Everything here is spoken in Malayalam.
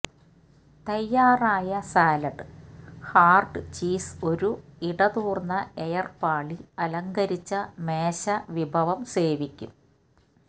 തയ്യാറായ സാലഡ് ഹാർഡ് ചീസ് ഒരു ഇടതൂർന്ന എയർ പാളി അലങ്കരിച്ച മേശ വിഭവം സേവിക്കും